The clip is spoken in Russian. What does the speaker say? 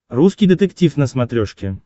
русский детектив на смотрешке